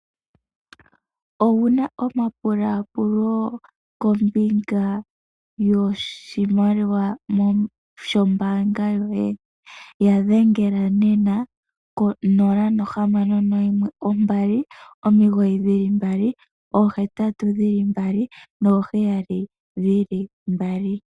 Owu na omapulapulo kombinga yoshimaliwa shombanga yoye ya dhengela nena 0612998877.